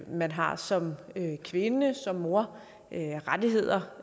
man har som kvinde som mor rettigheder